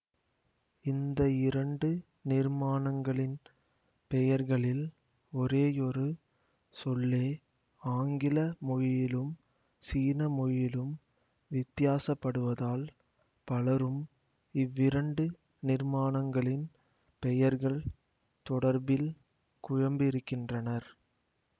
இந்த இரண்டு நிர்மாணங்களின் பெயர்களில் ஒரேயொரு சொல்லே ஆங்கில மொழியிலும் சீன மொழியிலும் வித்தியாசப்படுவதால் பலரும் இவ்விரண்டு நிர்மாணங்களின் பெயர்கள் தொடர்பில் குழம்பியிருக்கின்றனர்